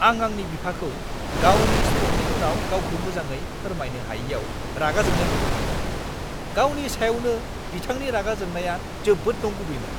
आं आंनि बिफाखौ गावनि स्ट्रकनि उनाव गावखौ मोजाङै फोरमायनो हायैआव रागा जोंनाय नुदोंमोन। गावनि सायावनो बिथांनि रागा जोंनाया जोबोद नंगुबैमोन।